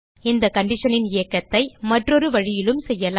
இந்த conditionன் இயக்கத்தை மற்றொரு வழியிலும் செய்யலாம்